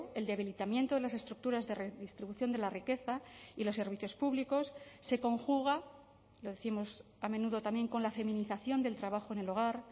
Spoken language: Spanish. el debilitamiento de las estructuras de redistribución de la riqueza y los servicios públicos se conjuga lo décimos a menudo también con la feminización del trabajo en el hogar